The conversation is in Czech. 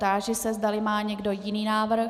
Táži se, zdali má někdo jiný návrh.